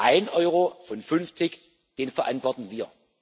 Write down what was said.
Ein Euro von 50 den verantworten wir.